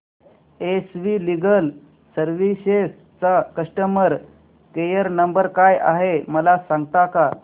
S V legal services चा customer care number काय आहे मला सांगता का